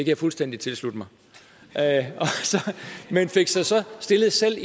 jeg fuldstændig tilslutte mig men fik så så stillet sig